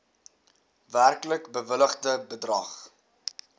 werklik bewilligde bedrag